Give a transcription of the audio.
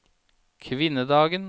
kvinnedagen